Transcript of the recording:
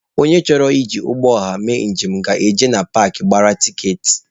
Onye chọrọ iji ụgbọ ọha mee njem ga-eje na paakị gbara tiketi.